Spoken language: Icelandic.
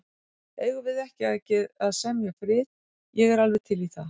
Eigum við ekki að semja frið. ég er alveg til í það.